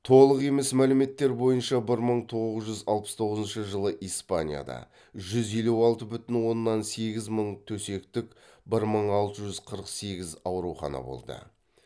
толық емес мәліметтер бойынша бір мың тоғыз жүз алпыс тоғызыншы жылы испанияда жүз елу алты бүтін оннан сегіз мың төсектік бір мың алты жүз қырық сегіз аурухана болды